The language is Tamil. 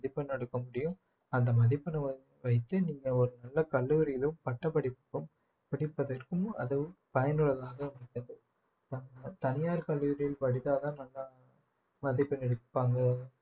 மதிப்பெண் எடுக்க முடியும் அந்த மதிப்பெண் வைத்து நீங்க ஒரு நல்ல கல்லூரியிலும் பட்டப்படிப்புக்கும் படிப்பதற்கும் அதுவும் பயனுள்ளதாக தனியார் கல்லூரியில் படித்தால்தான் நல்லா மதிப்பெண் எடுப்பாங்க